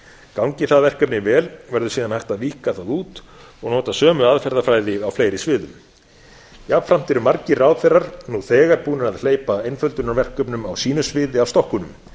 gangi það verkefni vel verður síðan hægt að víkka það út og nota sömu aðferðafræði á fleiri sviðum jafnframt eru margir ráðherrar nú þegar búnir að hleypa einföldunarverkefnum á sínu sviði af stokkunum